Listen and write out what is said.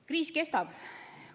Kriis kestab.